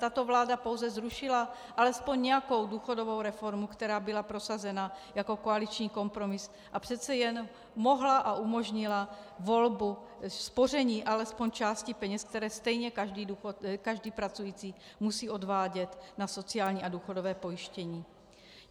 Tato vláda pouze zrušila alespoň nějakou důchodovou reformu, která byla prosazena jako koaliční kompromis a přece jen mohla a umožnila volbu spoření alespoň části peněz, které stejně každý pracující musí odvádět na sociální a důchodové pojištění.